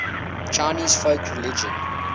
chinese folk religion